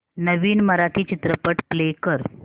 नवीन मराठी चित्रपट प्ले कर